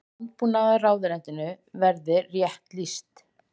Landbúnaðarráðuneytinu verið rétt lýst.